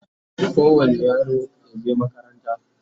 kowani yaro yaje makaranta